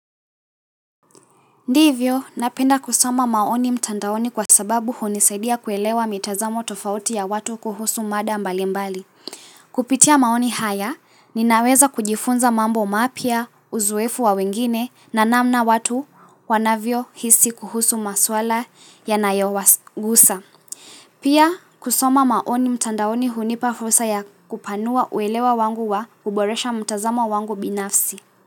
Ndivyo, napenda kusoma maoni mtandaoni kwa sababu hunisaidia kuelewa mitazamo tofauti ya watu kuhusu mada mbali mbali. Kupitia maoni haya, ninaweza kujifunza mambo mapya, uzoefu wa wengine na namna watu wanavyo hisi kuhusu maswala yanayo wagusa. Pia, kusoma maoni mtandaoni hunipa fursa ya kupanua uelewa wangu wa kuboresha mtazamo wangu binafsi.